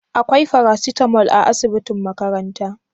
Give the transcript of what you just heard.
Akwai farasitamol a asibitin makaranta?